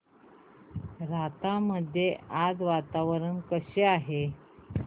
राहता मध्ये आज वातावरण कसे आहे